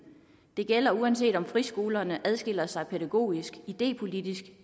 det gælder uanset om friskolerne skiller sig ud pædagogisk idépolitisk